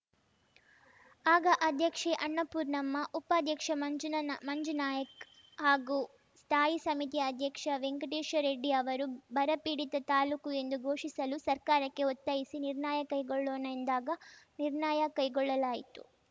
ಆಗ ಅಧ್ಯಕ್ಷೆ ಅನ್ನಪೂರ್ಣಮ್ಮ ಉಪಾಧ್ಯಕ್ಷ ಮಂಜುನ್ ಮಂಜುನಾಯ್ಕ ಹಾಗೂ ಸ್ಥಾಯಿ ಸಮಿತಿ ಅಧ್ಯಕ್ಷ ವೆಂಕಟೇಶ ರೆಡ್ಡಿ ಅವರು ಬರಪೀಡಿತ ತಾಲೂಕು ಎಂದು ಘೋಷಿಸಲು ಸರ್ಕಾರಕ್ಕೆ ಒತ್ತಾಯಿಸಿ ನಿರ್ಣಯ ಕೈಗೊಳ್ಳೋಣ ಎಂದಾಗ ನಿರ್ಣಯ ಕೈಗೊಳ್ಳಲಾಯಿತು